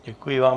Děkuji vám.